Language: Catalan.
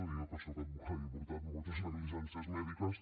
i jo que sóc advocada i he portat moltes negligències mèdiques